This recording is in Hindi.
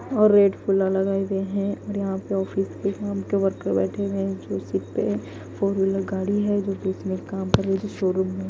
और रेड फूला लगाए हुए है और यहां पे ऑफिस के काम के वर्कर बैठे हुए है जो सीट पे फोर व्हीलर गाड़ी है जो बीच में काम कर रही थी शोरूम में --